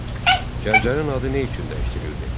Gəncənin adı nə üçün dəyişdirildi?